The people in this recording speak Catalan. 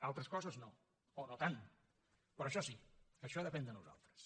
altres coses no o no tant però això sí això depèn de nosaltres